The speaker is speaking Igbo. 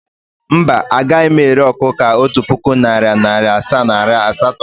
Mba, agaghị m ere ọkụkọ a otu puku, narị naịra asaa na naịra asatọ